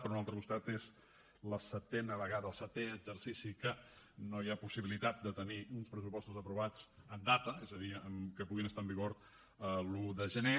per un altre costat és la setena vegada el setè exercici que no hi ha possibilitat de tenir uns pressupostos aprovats en data és a dir que puguin estar en vigor l’un de gener